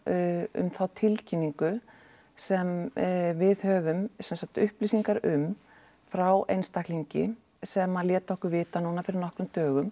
um þá tilkynningu sem við höfum sem sagt upplýsingar um frá einstaklingi sem að lét okkur vita núna fyrir nokkrum dögum